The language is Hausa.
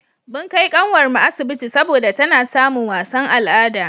mun Kai kanwar mu asibiti saboda tana samin wasan al'ada